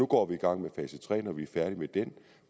går i gang med fase tre når vi er færdige med dem